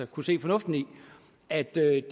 kunne se fornuften i at det